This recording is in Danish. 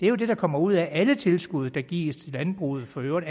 er det der kommer ud af alle tilskud der gives til landbruget for øvrigt